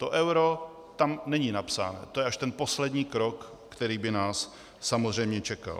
To euro tam není napsáno, to je až ten poslední krok, který by nás samozřejmě čekal.